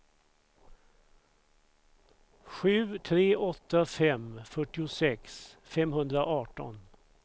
sju tre åtta fem fyrtiosex femhundraarton